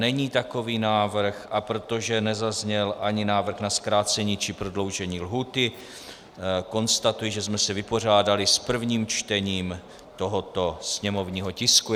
Není takový návrh, a protože nezazněl ani návrh na zkrácení či prodloužení lhůty, konstatuji, že jsme se vypořádali s prvním čtením tohoto sněmovního tisku.